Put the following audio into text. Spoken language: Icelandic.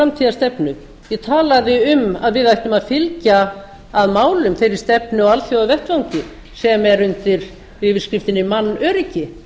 framtíðarstefnu ég talaði um að við ættum að fylgja að málum þeirri stefnu á alþjóðavettvangi sem er undir yfirskriftinni mannöryggi